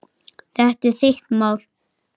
Þetta er þitt mál.